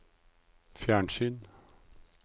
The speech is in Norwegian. fjernsyn